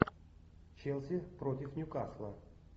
челси против ньюкасла